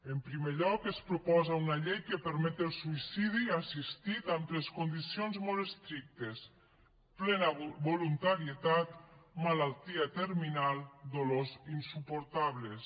en primer lloc es proposa una llei que permet el suïcidi assistit amb tres condicions molt estrictes plena voluntarietat malaltia terminal dolors insuportables